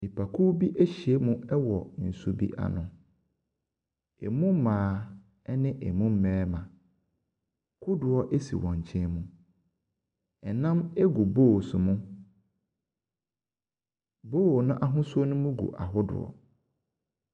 Nnipakuw bi ahyiam wɔ nsu bi ano. Emu mmaa ne emu mmarima. Kodoɔ si wɔn nkyenmu. Nam gu bowls mu. Bowl no ahosuo no mu gu ahodoɔ.